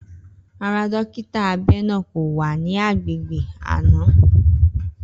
Rara, dọkito abẹ naa ko wa ni agbegbe ana.